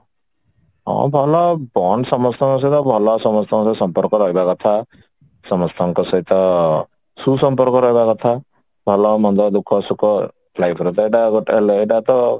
ହଁ ଭଲ bond ସମସ୍ତଙ୍କ ସହିତ ଭଲ ସମସ୍ତଙ୍କ ସହ ସମ୍ପର୍କ ରହିବା କଥା ସମସ୍ତଙ୍କ ସହିତ ସୁସମ୍ପର୍କ ରହିବା କଥା ଭଲ ମନ୍ଦ ଦୁଖ ସୁଖ life ର ତ ଏଟା ଗୋଟେ ମାନେ ଏଟା ତ